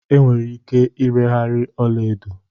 Enwere ike ireghari ọla edo